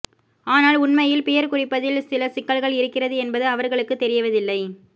ஆனால் உண்மையில் பியர் குடிப்பதில் சில சிக்கல்கள் இருக்கிறது என்பது அவர்களுக்குத் தெரிவதில்லை